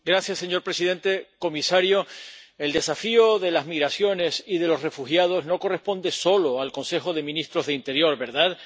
Señor presidente, señor comisario, el desafío de las migraciones y de los refugiados no corresponde solo al Consejo de Ministros de Interior, ¿verdad?